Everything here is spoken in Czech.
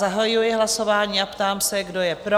Zahajuji hlasování a ptám se, kdo je pro?